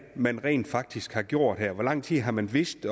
man rent faktisk har gjort her hvor lang tid har man vidst